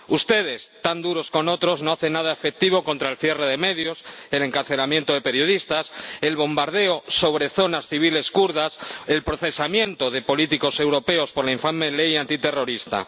Ustedes, tan duros con otros, no hacen nada efectivo contra el cierre de medios, el encarcelamiento de periodistas, el bombardeo sobre zonas civiles kurdas o el procesamiento de políticos europeos por la infame ley antiterrorista.